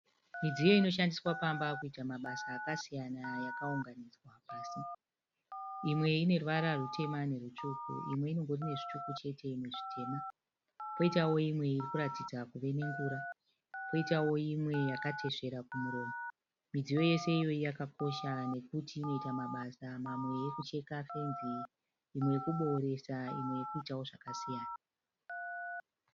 Midziyo inoshandiswa pamba kuita mabasa akasiyana yakaunganidzwa pasi. Imwe ine ruvara rwutema nerwutsvuku. Imwe inongori nezvitsvuku chete imwe zvitema. Poitao imwe iri kuratidza kuve nengura. Poitao imwe yakatesvera kumuromo. Midziyo yose iyoyi yakakosha nekuti inoita mabasa mamwe ekucheka fenzi, imwe yekubooresa imwe yekuitawo zvakasiyana.